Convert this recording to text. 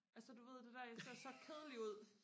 altså du ved det der jeg ser så kedelig ud